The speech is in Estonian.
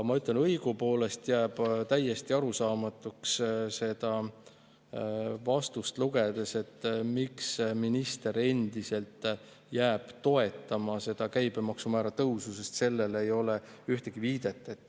Ma ütlen, et õigupoolest jääb seda vastust lugedes täiesti arusaamatuks, miks minister endiselt seda käibemaksumäära tõusu toetab, sest sellele ei ole ühtegi viidet.